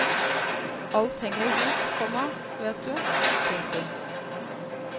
Alt henger i hop, komma vet du. punktum